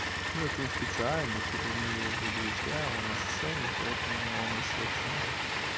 ну это специально типа мы его друзья он нас ценит поэтому он нас не обсирает